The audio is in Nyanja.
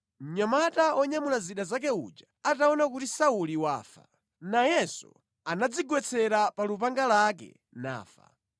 Mnyamata wonyamula zida zake uja ataona kuti Sauli wafa, nayenso anadzigwetsera pa lupanga lake nafa.